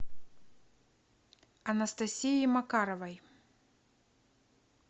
анастасии макаровой